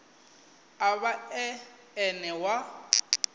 a vha e ene wa